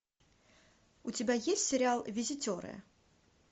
у тебя есть сериал визитеры